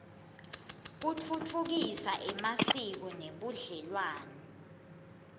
kutfutfukisa emasiko nebudlelwane